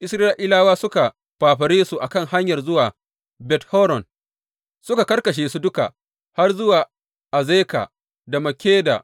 Isra’ilawa suka fafare su a kan hanyar zuwa Bet Horon suka karkashe su duka har zuwa Azeka da Makkeda.